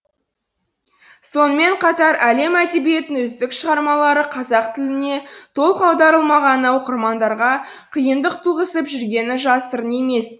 сонымен қатар әлем әдебиетінің үздік шығармалары қазақ тіліне толық аударылмағаны оқырмандарға қиындық туғызып жүргені жасырын емес